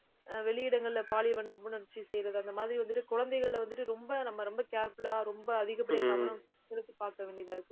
ஆஹ் வெளியிடங்கள்ல பாலியல் வன்புணர்ச்சி செய்யிறது அந்த மாதிரி வந்துட்டு, குழந்தைகளை வந்துட்டு, ரொம்ப நம்ம ரொம்ப careful ஆ ரொம்ப அதிகப்படுத்தணும் பாக்க வேண்டியதா இருக்கு